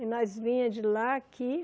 E nós vinha de lá aqui.